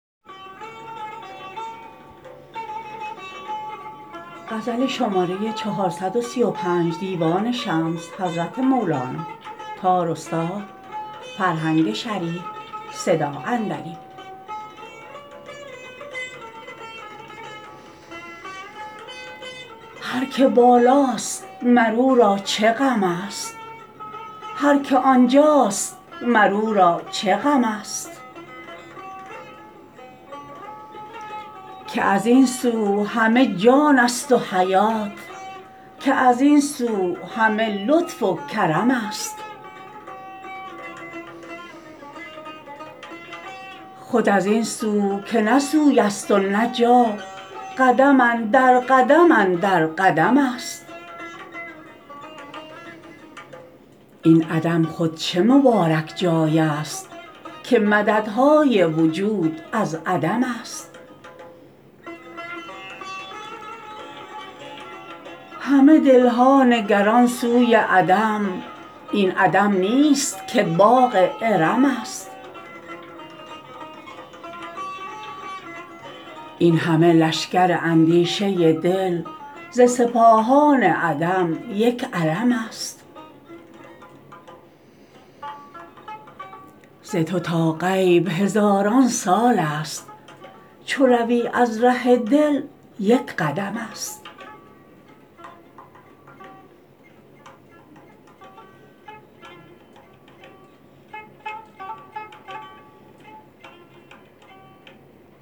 هر که بالا ست مر او را چه غم است هر که آنجاست مر او را چه غم است که از این سو همه جان ست و حیات که از این سو همه لطف و کرم است خود از این سو که نه سوی ست و نه جا قدم اندر قدم اندر قدم ست این عدم خود چه مبارک جای ست که مدد های وجود از عدم ست همه دل ها نگران سوی عدم این عدم نیست که باغ ارم ست این همه لشکر اندیشه دل ز سپاهان عدم یک علم ست ز تو تا غیب هزاران سال ست چو روی از ره دل یک قدم ست